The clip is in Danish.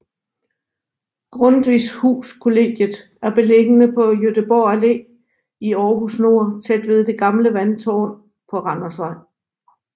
Grundtvigs Hus Kollegiet er beliggende på Gøteborg Allé i Aarhus Nord tæt ved det gamle vandtårnet på Randersvej